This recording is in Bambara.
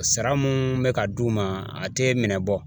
Sara mun bɛ ka d'u ma ,a tɛ minɛ bɔ.